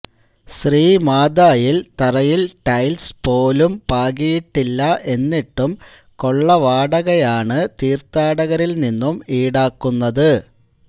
ശ്രീമാതായില് തറയില് ടെയില്സ് പോലൂം പാകിയിട്ടില്ല എന്നിട്ടും കൊള്ള വാടകയാണ് തീര്ത്ഥാടകരില്നിന്നും ഈടാക്കുന്നത്